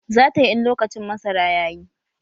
Zatayi in lokacin masara yayi